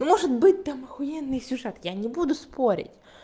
ну может быть там ахуенный сюжет я не буду спорить